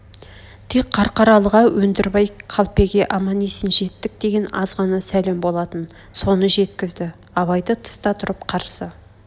тек қарқаралыға өндірбай қалпеге аман-есен жеттік деген аз ғана сәлем болатын соны жеткізді абайды тыста тұрып қарсы